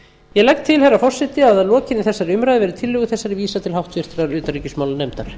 ég legg til herra forseti að að lokinni þessari umræðu verði tillögu þessari vísað til háttvirtrar utanríkismálanefndar